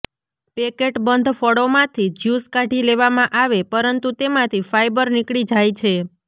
પેકેટબંધ ફળોમાંથી જ્યુસ કાઢી લેવામાં આવે પરંતુ તેમાંથી ફાઇબર નીકળી જાય છે